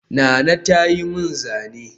Nana ta yi min zane